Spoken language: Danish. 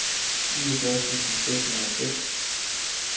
niogfyrre tusind seks hundrede og seks